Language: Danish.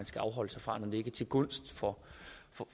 skal afholde sig fra når det ikke er til gunst for